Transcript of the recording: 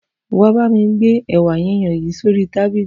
Wà á bá mi gbé ẹ̀wá yíyan yìí sí orí tábìlì.